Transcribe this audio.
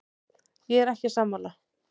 Ég er ekki sammála.